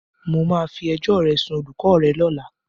Mo máa fi ẹjọ́ ẹ sún olùkọ́ rẹ lọ́la.